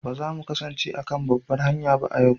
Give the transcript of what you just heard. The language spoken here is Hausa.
Ba za mu kasance a kan babbar hanya ba a yanzu?